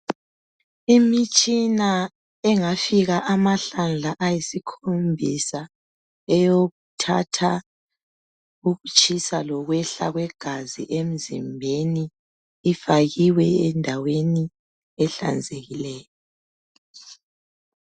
Imitshina engafika amahlandla ayisikhombisa eyokuthatha ukutshisa lokwehla kwegazi emzimbeni ifakiwe endaweni ehlanzekileyo